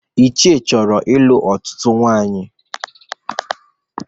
Ichie chọrọ ịlụ ọtụtụ nwaanyị